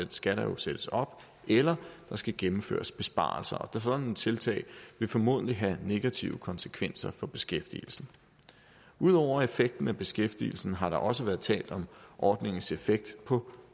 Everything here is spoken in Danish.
skatter jo sættes op eller der skal gennemføres besparelser sådan et tiltag vil formodentlig have negative konsekvenser for beskæftigelsen ud over effekten af beskæftigelsen har der også været talt om ordningens effekt på